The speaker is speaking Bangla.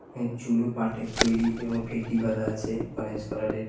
এবং চুলোও পাটের তৈরি এবং ফেট্টি বাঁধা আছে অরেঞ্জ কালারের।